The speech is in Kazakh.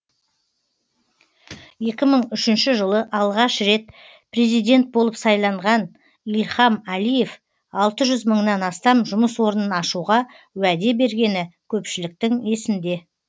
екі мың үшінші жылы алғаш рет президент болып сайланған ильхам әлиев алты жүз мыңнан астам жұмыс орнын ашуға уәде бергені көпшіліктің есінде